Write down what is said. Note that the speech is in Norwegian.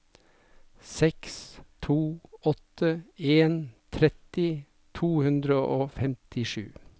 seks to åtte en tretti to hundre og femtisju